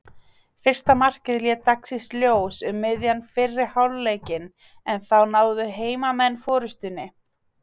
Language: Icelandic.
Fyrsta markið leit dagsins ljós um miðjan fyrri hálfleikinn en þá náðu heimamenn forystunni.